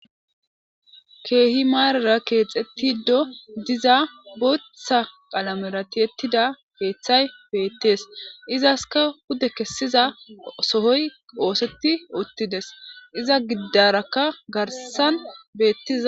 keehi maarara keexettido diza bootha qalamera tihettida keeththay beettees izaska pude kessiza sohoy ooseti uttides iza giddarakka garsan beettiza